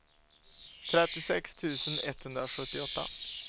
trettiosex tusen etthundrasjuttioåtta